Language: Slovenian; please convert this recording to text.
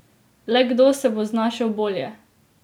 Le kdo se bo znašel bolje?